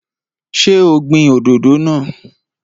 Ṣé o gbin òdòdó náà?